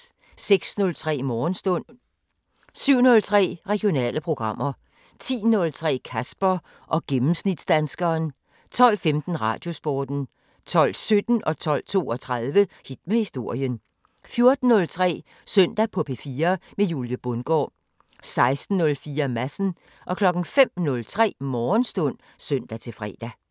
06:03: Morgenstund 07:03: Regionale programmer 10:03: Kasper og gennemsnitsdanskeren 12:15: Radiosporten 12:17: Hit med historien 12:32: Hit med historien 14:03: Søndag på P4 med Julie Bundgaard 16:04: Madsen 05:03: Morgenstund (søn-fre)